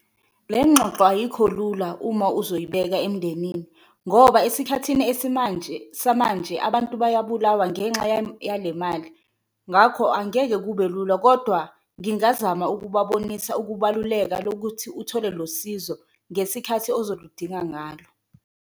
Le ngxoxo ayikho lula uma uzoyibeka emndenini ngoba esikhathini esimanje samanje abantu bayabulawa ngenxa yale mali ngakho angeke kube lula, kodwa ngingazama ukubabonisa ukubaluleka lokuthi uthole lo sizo ngesikhathi ozoludinga ngalo.